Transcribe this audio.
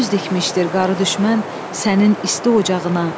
göz dikmişdir qarı düşmən sənin isti ocağına.